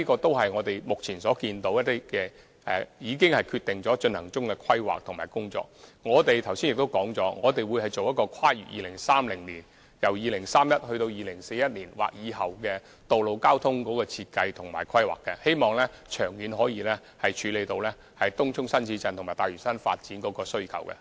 但是，這些只是當局目前一些已經決定並進行中的規劃及工作，而我剛才亦已指出，我們會進行《香港 2030+》，檢視本港由2031年至2041年或以後的道路交通設計及規劃，希望長遠可以處理東涌新市鎮及大嶼山發展的需求。